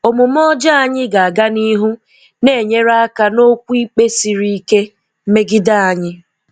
Omume ọjọọ anyị ga-aga n'ihu na-enyere aka n'okwu ikpe siri ike megide anyị.